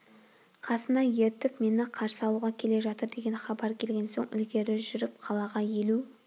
қасына ертіп мені қарсы алуға келе жатыр деген хабар келген соң ілгері жүріп қалаға елу